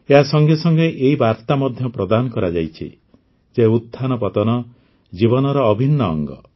ଏହା ସଙ୍ଗେ ସଙ୍ଗେ ଏହି ବାର୍ତ୍ତା ମଧ୍ୟ ପ୍ରଦାନ କରାଯାଇଛି ଯେ ଉତ୍ଥାନ ପତନ ଜୀବନର ଅଭିନ୍ନ ଅଙ୍ଗ